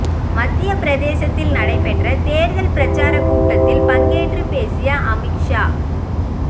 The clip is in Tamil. மத்திய பிரதேசத்தில் நடைபெற்ற தேர்தல் பிரச்சாரக் கூட்டத்தில் பங்கேற்று பேசிய அமித் ஷா